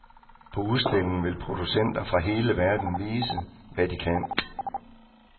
På udstillingen vil producenter fra hele verden vise, hvad de kan.